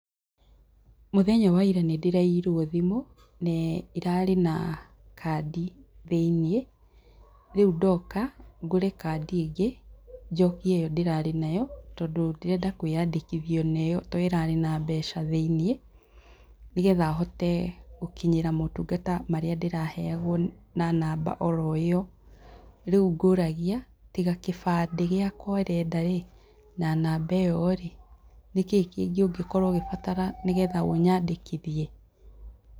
Mũthenya waira nĩ ndĩraiyirwo thimũ, na ĩrarĩ na kandi thĩiniĩ, rĩu ndoka ngũre kandi ĩngĩ njokie ĩyo ndĩrarĩ nayo tondũ ndĩrenda kwĩyandĩkithia ona ĩyo tondũ ĩrarĩ na mbeca thĩiniĩ, nĩ getha hote gũkinyĩra motungata marĩa ndĩraheagwo na namba oro ĩyo. Rĩu ngũragia tiga kĩbandĩ gĩakwa ũrenda rĩ na namba ĩyo rĩ, nĩkĩ kĩngĩ ũngĩ korwo ũkĩbatara nĩgetha ũnyandĩkithie?